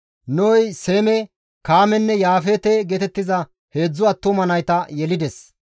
Nohey Seeme, Kaamenne Yaafeete geetettiza heedzdzu attuma nayta yelides.